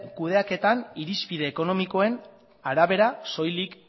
kudeaketan irizpide ekonomikoen arabera soilik